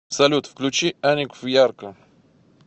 салют включи аникв ярко